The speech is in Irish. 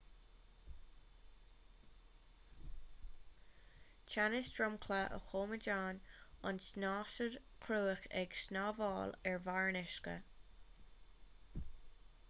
teannas dromchla a choimeádann an tsnáthaid chruach ag snámhaíl ar bharr an uisce